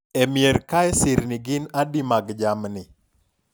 e mier kae sirni gin adi mag jamni?